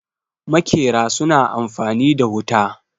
makera suna amfani da wuta